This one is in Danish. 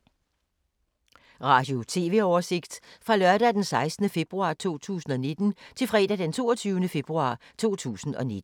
Radio/TV oversigt fra lørdag d. 16. februar 2019 til fredag d. 22. februar 2019